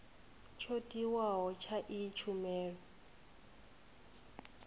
tsho tiwaho tsha iyi tshumelo